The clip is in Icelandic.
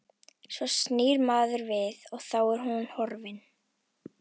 Svo snýr maður við og þá er hún horfin.